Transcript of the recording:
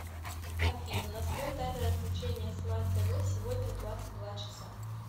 афина настрой таймер отключения смарт тв сегодня в двадцать два часа